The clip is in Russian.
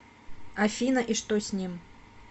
афина и что с ним